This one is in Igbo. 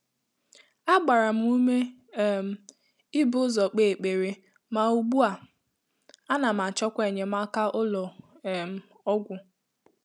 Á gbàrà m úmé um íbù ụ́zọ́ kpèé ékpèré, mà ùgbú à, ànà m àchọ́kwà ényémáká ụ́lọ́ um ọ́gwụ́.